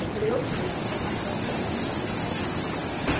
Eu falei, eu tirei informações e a documentação está errada.